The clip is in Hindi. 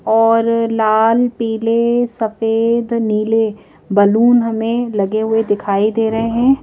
और लाल पीले सफेद नीले बैलून हमें लगे हुए दिखाई दे रहे हैं।